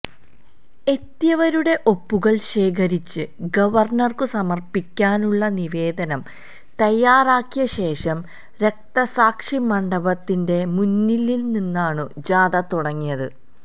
എത്തിയവരുടെ ഒപ്പുകള് ശേഖരിച്ച് ഗവര്ണര്ക്കു സമര്പ്പിക്കാനുള്ള നിവേദനം തയാറാക്കിയ ശേഷം രക്തസാക്ഷി മണ്ഡപത്തിന്റെ മുന്നില്നിന്നാണു ജാഥ തുടങ്ങിയത്